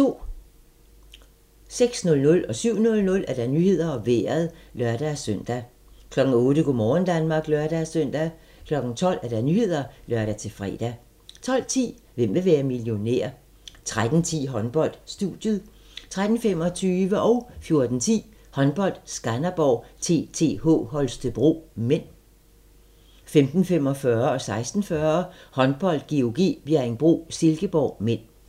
06:00: Nyhederne og Vejret (lør-søn) 07:00: Nyhederne og Vejret (lør-søn) 08:00: Go' morgen Danmark (lør-søn) 12:00: Nyhederne (lør-fre) 12:10: Hvem vil være millionær? 13:10: Håndbold: Studiet 13:25: Håndbold: Skanderborg-TTH Holstebro (m) 14:10: Håndbold: Skanderborg-TTH Holstebro (m) 15:45: Håndbold: GOG - Bjerringbro-Silkeborg (m) 16:40: Håndbold: GOG - Bjerringbro-Silkeborg (m)